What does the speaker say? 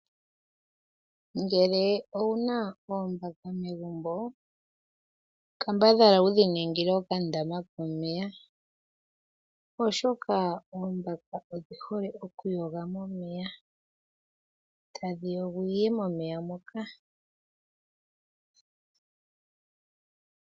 Ngele owuna oombaka megumbo kambadhala wudhi ningile oka ndama komeya. Oshoka odhihole okuyoga momeya. Tadhiyogwiiye momeya moka.